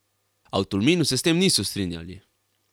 A v Tolminu se s tem niso strinjali.